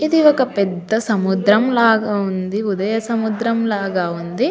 ఇది ఒక పెద్ద సముద్రం లాగా వుంది ఉదయ సముద్రం లాగా వుంది.